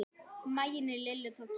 Maginn í Lillu tók kipp.